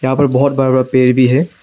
यहां पर बहुत बड़ा बड़ा पेड़ भी है।